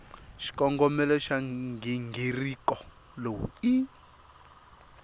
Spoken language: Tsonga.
xikongomelo xa nghingiriko lowu i